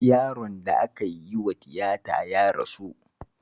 Yaron da aka yi wa tiyata ya rasu